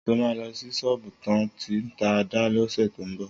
Sọ mà lọ sí sọbu tàn ti tà àdá lọsẹ tọ mbọ